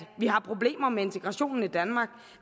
har problemer med integrationen i danmark